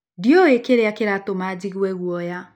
Ndiũĩ kĩrĩa kĩratũma njigue guoya.